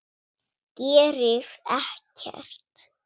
Gerir ekkert.